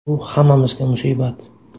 Bu hammamizga musibat.